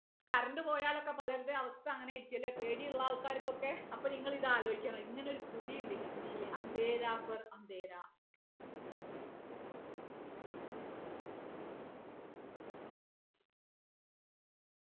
current പോയാൽ ഒക്കെ പലരുടെയും അവസ്ഥ അങ്ങനെ ആയിരിക്കുമല്ലേ പേടി ഉള്ള ആൾക്കാർക്കൊക്കെ അപ്പൊ നിങ്ങൾ ഇത് ആലോചിക്കണം ഇങ്ങനെ ഒരു കൃതി ഉണ്ട് ഹിന്ദിയിൽ